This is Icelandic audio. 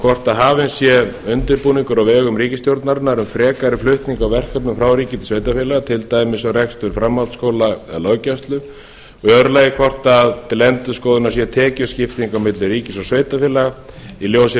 hvort hafinn sé undirbúningur á vegum ríkisstjórnarinnar frekari flutningur á verkefnum frá ríki til sveitarfélaga til dæmis um rekstur framhaldsskóla eða löggæslu í öðru lagi hvort til endurskoðunar sé tekjuskipting á milli ríkis og sveitarfélaga í ljósi